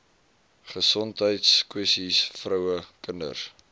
gesondheidskwessies vroue kinders